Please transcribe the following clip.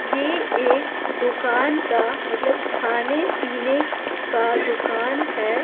ये एक दुकान का मतलब खाने-पीने का दुकान है।